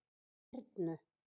Hyrnu